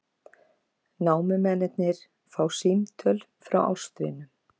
Námumennirnir fá símtöl frá ástvinum